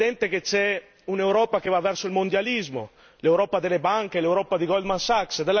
È evidente che, da una parte, c'è un'Europa che va verso il mondialismo l'Europa delle banche, l'Europa di Goldman Sachs.